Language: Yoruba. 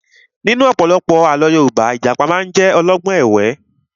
Nínú ọ̀pọ̀lọpọ̀ àlọ́ Yorùbá, Ìjàpá máa ń jẹ́ olọ́gbọ́n ẹ̀wẹ́